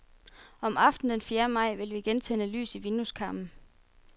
Om aftenen den fjerde maj vil vi igen tænde lys i vindueskarmen.